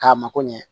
K'a mako ɲɛ